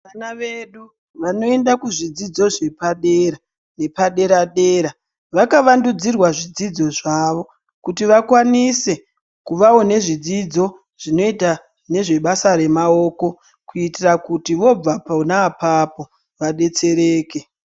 Vana vedu vanoenda kuzvidzidzo zvepadera nepadera dera vakavandudzirwa zvidzidzo zvavo kuti vakwanise kuvawo nezvidzidzo zvinoite nezvebasa remaoko kuitira kuti vobva pona apapo vadetsereke.